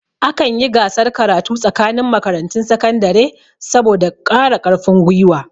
Akan yi gasar karatu tsakanin makarantun sakandare. saboda kara karfin gwiwa